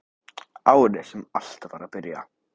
Árið sem allt var að byrja.